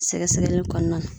Sɛgɛsɛgɛli kɔnɔna na.